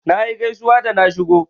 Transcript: Nayi gaisuwa da na shigo.